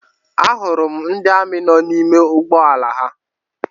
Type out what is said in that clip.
A hụrụ m ndị amị nọ n'ime ụgbọala ha.